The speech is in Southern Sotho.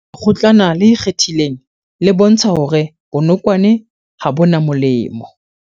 Lekgotlana le ikgethileng le bontsha hore bonokwane ha bo na molemo